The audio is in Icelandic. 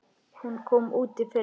Hún kom út í fyrra.